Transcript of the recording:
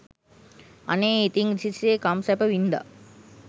අනේ ඉතින් රිසි සේ කම් සැප වින්ද